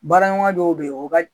Baara ɲɔgɔnya dɔw bɛ yen